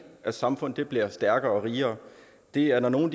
at samfundet bliver stærkere og rigere det er når nogen